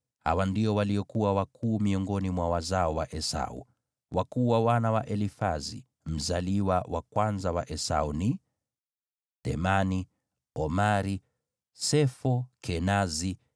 Hawa ndio waliokuwa wakuu miongoni mwa wazao wa Esau: Wakuu wa wana wa Elifazi, mzaliwa wa kwanza wa Esau ni: Temani, Omari, Sefo, Kenazi,